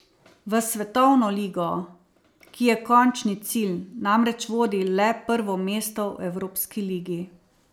V svetovno ligo, ki je končni cilj, namreč vodi le prvo mesto v evropski ligi.